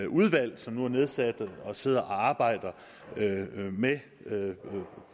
udvalg som nu er nedsat og sidder og arbejder med